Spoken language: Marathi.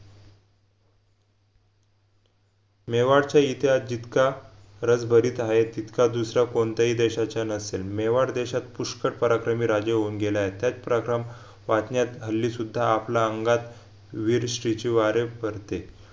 मेवाडचा इतिहास जितका रसभरीत हाय तितका दुसरा कोणताही देशाचा नसेल मेवाड देशात पुष्कड पराक्रमी राजे होऊन गेले आहेत त्याचप्रकराम वाचण्यात हल्ली सुद्धा आपल्या अंगात वीरश्रीचे वारे भरते